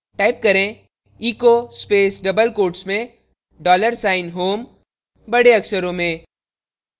type करें echo space double quotes में dollar sign home बड़े अक्षरों में